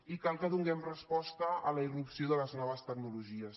i cal que donem resposta a la ir·rupció de les noves tecnologies